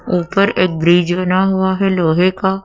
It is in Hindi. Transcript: ऊपर एक ब्रिज बना हुआ है लोहे का।